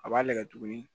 A b'a lagɛ tuguni